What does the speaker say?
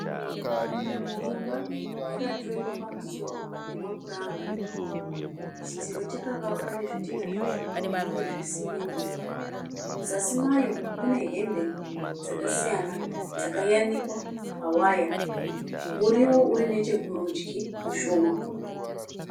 Imba yakatururikwa pamusoro nemapuranga. Chidziro chakavakwa nezvidhina zvitsvuku. Uyezve simende. Muzasi mayo mune hembe dzakasiyana dzakayanikwa pa waya. Muriwo urinechekurudyi mushoma .